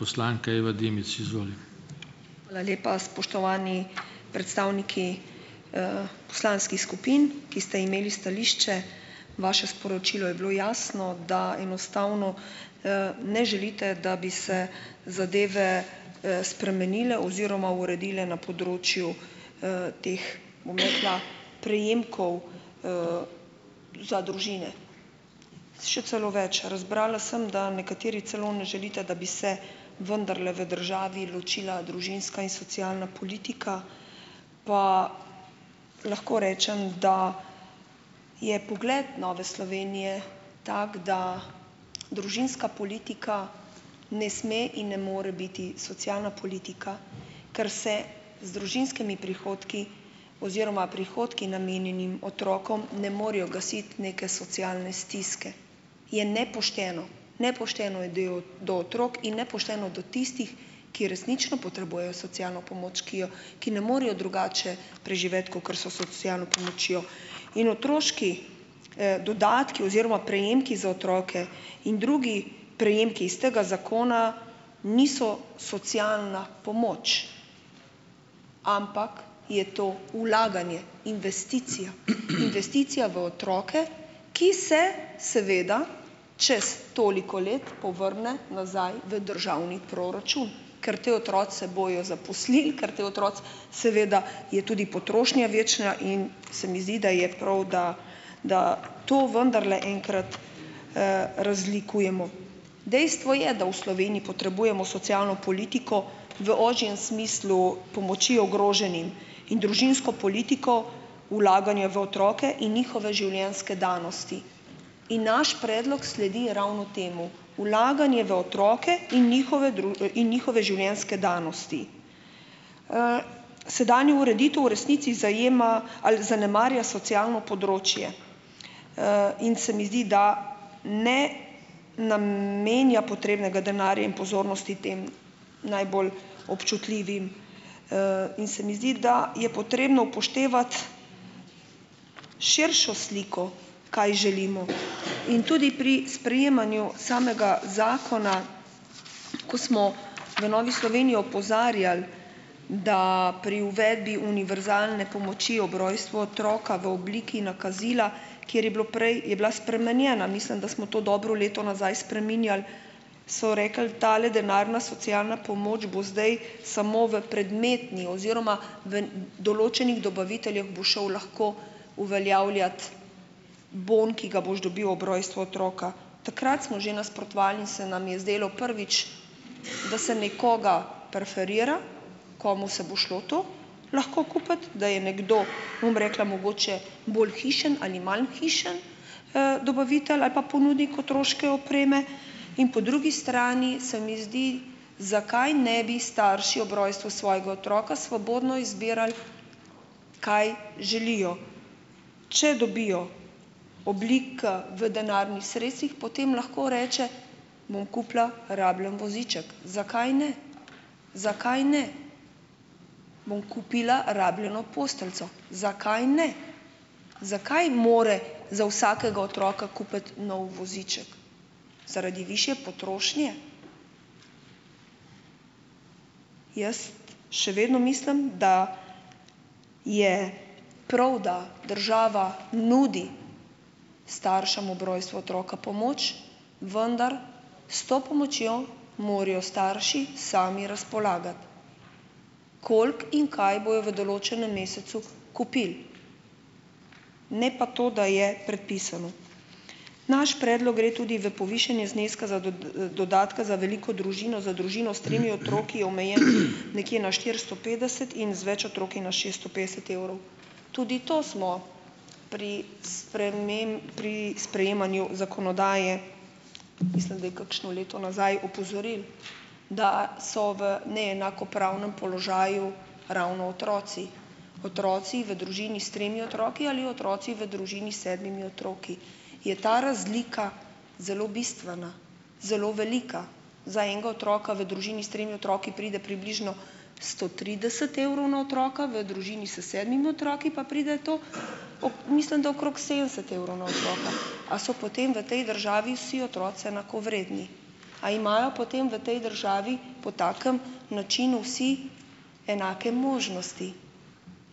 Hvala lepa. Spoštovani predstavniki, poslanskih skupin, ki ste imeli stališče, vaše sporočilo je bilo jasno - da enostavno, ne želite, da bi se zadeve, spremenile oziroma uredile na področju, teh, bom rekla, prejemkov za družine. Še celo več, razbrala sem, da nekateri celo ne želite, da bi se vendarle v državi ločila družinska in socialna politika. Pa ... Lahko rečem, da je pogled Nove Slovenije tak, da družinska politika ne sme in ne more biti socialna politika, ker se z družinskimi prihodki oziroma prihodki, namenjenim otrokom, ne morejo gasiti neke socialne stiske. Je nepošteno, nepošteno je do, do otrok in nepošteno do tistih, ki resnično potrebujejo socialno pomoč, ki jo ki ne morejo drugače preživeti kakor s socialno pomočjo. In otroški, dodatki oziroma prejemki za otroke in drugi prejemki iz tega zakona niso socialna pomoč, ampak je to vlaganje, investicija, investicija v otroke, ki se seveda čez toliko let povrne nazaj v državni proračun, ker ti otroci se bojo zaposlili, ker ti otroci, seveda je tudi potrošnja večja, in se mi zdi, da je prav, da, da to vendarle enkrat, razlikujemo. Dejstvo je, da v Sloveniji potrebujemo socialno politiko v ožjem smislu pomoči ogroženim in družinsko politiko, vlaganje v otroke in njihove življenjske danosti. In naš predlog sledi ravno temu, vlaganje v otroke in njihove in njihove življenjske danosti. Sedanjo ureditev v resnici zajema, ali zanemarja socialno področje, in se mi zdi, da ne namenja potrebnega denarja in pozornosti tem najbolj občutljivim, in se mi zdi, da je potrebno upoštevati širšo sliko, kaj želimo. In tudi pri sprejemanju samega zakona, ko smo v Novi Sloveniji opozarjali, da pri uvedbi univerzalne pomoči ob rojstvu otroka v obliki nakazila, kjer je bilo prej, je bila spremenjena, mislim, da smo to dobro leto nazaj spreminjali, so rekli, tale denarna socialna pomoč bo zdaj samo v predmetni oziroma v določenih dobaviteljev bo šel lahko uveljavljat bon, ki ga boš dobil ob rojstvu otroka, takrat smo že nasprotovali in se nam je zdelo, prvič, da se nekoga preferira, komu se bo šlo to, lahko kupiti, da je nekdo, bom rekla, mogoče bolj hišni ali manj hišni, dobavitelj ali pa ponudnik otroške opreme in po drugi strani se mi zdi, zakaj ne bi starši ob rojstvu svojega otroka svobodno izbirali, kaj želijo. Če dobijo oblike v denarnih sredstvih, potem lahko reče: "Bom kupila rabljen voziček." Zakaj ne? Zakaj ne? "Bom kupila rabljeno posteljico." Zakaj ne? Zakaj mora za vsakega otroka kupiti nov voziček? Zaradi višje potrošnje? Jaz še vedno mislim, da je prav, da država nudi staršem ob rojstvu otroka pomoč, vendar s to pomočjo morajo starši sami razpolagati, koliko in kaj bojo v določenem mesecu kupili, ne pa to, da je predpisano. Naš predlog gre tudi v povišanje zneska za dodatka za veliko družino z družino s tremi otroki, omejen nekje na štiristo petdeset, in z več otroki na šesto petdeset evrov. Tudi to smo pri pri sprejemanju zakonodaje, mislim da je kakšno leto nazaj, opozorili, da so v neenakopravnem položaju ravno otroci. Otroci v družini s tremi otroki ali otroci v družini s sedmimi otroki je ta razlika zelo bistvena, zelo velika. Za enega otroka v družini s tremi otroki pride približno sto trideset evrov na otroka, v družini s sedmimi otroki pa pride to, mislim, da okrog sedemdeset evrov na otroka. A so potem v tej državi vsi otroci enakovredni? A imajo potem v tej državi po takem načinu vsi enake možnosti?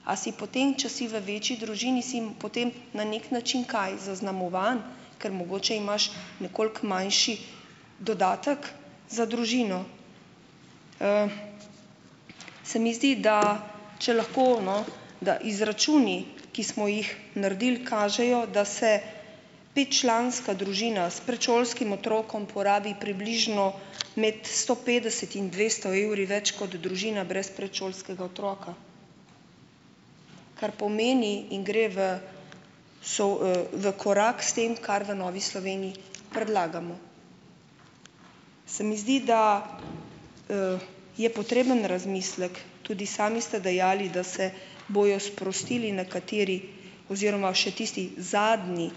A si potem, če si v večji družini, si jim potem na neki način, kaj zaznamovan, ker mogoče imaš nekoliko manjši dodatek za družino? Se mi zdi, da če lahko, no, da izračuni, ki smo jih naredili, kažejo, da se petčlanska družina s predšolskim otrokom porabi približno imeti sto petdeset in dvesto evri več kot družina brez predšolskega otroka, kar pomeni, in gre v v korak s tem, kar v Novi Sloveniji, predlagamo. Se mi zdi, da je potreben razmislek. Tudi sami ste dejali, da se bojo sprostili nekateri oziroma še tisti zadnji,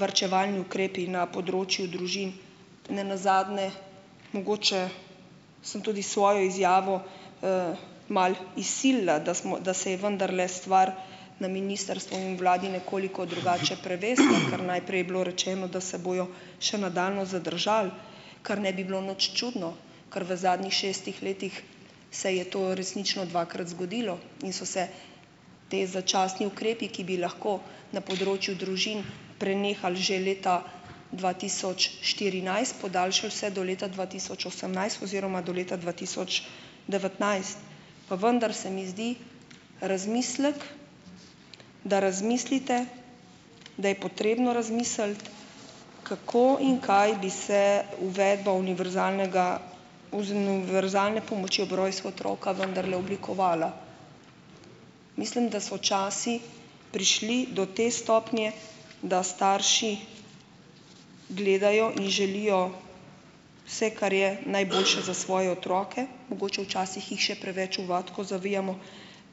varčevalni ukrepi na področju družin. Ne nazadnje mogoče sem tudi svojo izjavo, malo izsilila, da smo, da se je vendarle stvar na ministrstvu in vladi nekoliko drugače prevesila, ker najprej je bilo rečeno, da se bojo še nadaljnje zadržali, kar ne bi bilo nič čudno, ker v zadnjih šestih letih se je to resnično dvakrat zgodilo in so se ti začasni ukrepi, ki bi lahko na področju družin prenehali že leta dva tisoč štirinajst, podaljšali vse do leta dva tisoč osemnajst oziroma do leta dva tisoč devetnajst. Pa vendar se mi zdi razmislek, da razmislite, da je potrebno razmisliti, kako in kaj bi se uvedba univerzalnega, univerzalne pomoči ob rojstvu otroka vendarle oblikovala. Mislim, da so časi prišli do te stopnje, da starši gledajo in želijo vse, kar je, najboljše za svoje otroke, mogoče včasih jih še preveč v vatko zavijamo,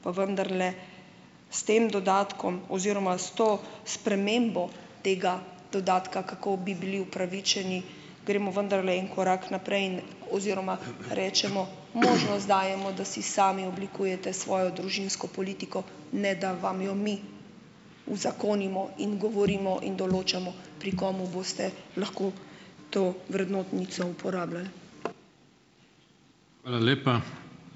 pa vendarle s tem dodatkom oziroma s to spremembo tega dodatka, kako bi bili upravičeni, gremo vendarle en korak naprej in oziroma rečemo, možnost dajemo, da si sami oblikujete svojo družinsko politiko, ne da vam jo mi uzakonimo in govorimo in določamo, pri kom boste lahko to vrednotnico uporabljali.